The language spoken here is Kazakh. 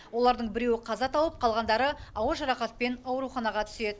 олардың біреуі қаза тауып қалғандары ауыр жарақатпен ауруханаға түседі